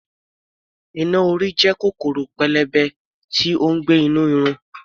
Iná-orí jẹ́ kòkòrò pélébé tí ó ń gbé nínú irun.